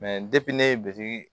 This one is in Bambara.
ne ye biriki